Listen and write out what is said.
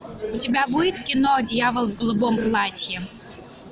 у тебя будет кино дьявол в голубом платье